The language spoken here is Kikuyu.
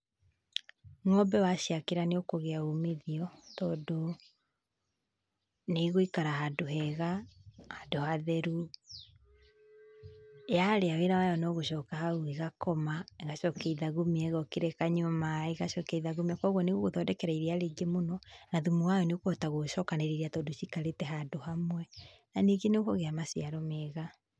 Ng'ombe waciakĩra nĩ ũkũgĩa umithio tondũ nĩ igũikara handũ hega, handũ hatheru yarĩa wĩra wayo no gũcoka hau ĩgakoma, ĩgacokia ithagumia, ĩgokĩra ĩkanyua maĩ ĩgacokia ithagumia. Koguo nĩ ĩgũgũthondekera iria rĩingĩ mũno na thumu wayo nĩũgũkĩhota gũcokanirĩria tondũ cikarĩte handũ hamwe, na ningĩ ni ũkũgĩa maciaro mega.